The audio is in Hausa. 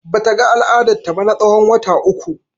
Bata ga al'adar ta ba na tsawon wata uku.